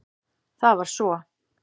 Það var svo